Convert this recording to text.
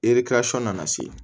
nana se